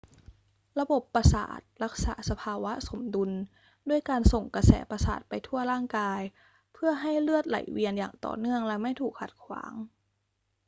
ระบบประสาทรักษาสภาวะสมดุลด้วยการส่งกระแสประสาทไปทั่วร่างกาย เพื่อให้เลือดไหลเวียนอย่างต่อเนื่องและไม่ถูกขัดขวาง